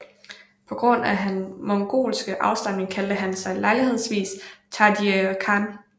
På grund af hans mongolske afstamning kaldte han sig lejlighedsvis Taidje Khan